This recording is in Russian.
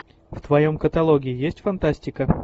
в твоем каталоге есть фантастика